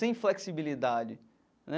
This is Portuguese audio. Sem flexibilidade, né?